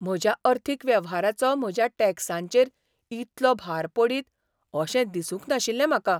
म्हज्या अर्थीक वेव्हाराचो म्हज्या टॅक्सांचेर इतलो भार पडीत अशें दिसूंक नाशिल्लें म्हाका.